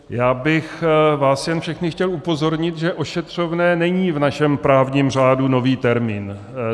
Já bych vás jen všechny chtěl upozornit, že ošetřovné není v našem právním řádu nový termín.